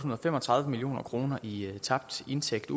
fem og tredive million kroner i tabt indtægt